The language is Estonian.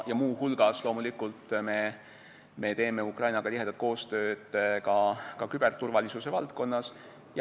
Muu hulgas, loomulikult, me teeme Ukrainaga tihedat koostööd küberturvalisuse valdkonnas.